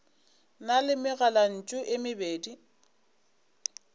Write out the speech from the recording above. na le megalantšu e mebedi